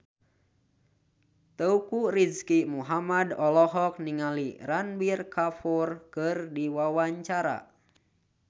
Teuku Rizky Muhammad olohok ningali Ranbir Kapoor keur diwawancara